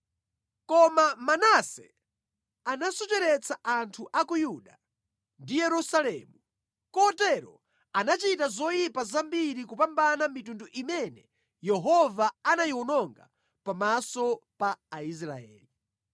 Koma Manase anasocheretsa anthu a ku Yuda ndi Yerusalemu, kotero anachita zoyipa zambiri kupambana mitundu imene Yehova anayiwononga pamaso pa Aisraeli.